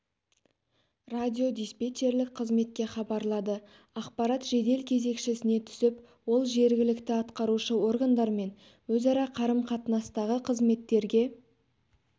радиодиспечерлік қызметке хабарлады ақпарат жедел кезекшісіне түсіп ол жергілікті ақтарушы органдар мен өзара қарыс-қатынастағы қызметтерге